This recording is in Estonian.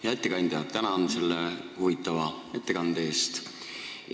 Hea ettekandja, tänan huvitava ettekande eest!